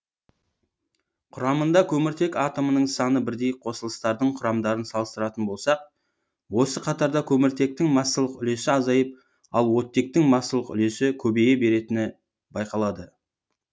құрамында көміртек атомының саны бірдей қосылыстардың құрамдарын салыстыратын болсақ осы қатарда көміртектің массалық үлесі азайып ал оттектің массалық үлесі көбейе беретіні байқалады